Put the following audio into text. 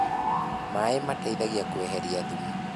Maĩ mateithagia kueherĩa thumu